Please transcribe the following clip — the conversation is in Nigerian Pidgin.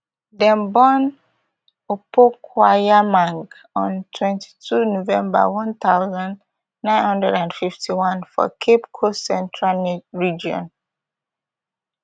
dem born opokuagyemang on twenty-two november one thousand, nine hundred and fifty-one for cape coast central region